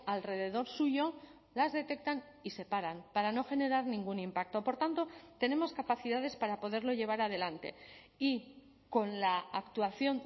alrededor suyo las detectan y se paran para no generar ningún impacto por tanto tenemos capacidades para poderlo llevar adelante y con la actuación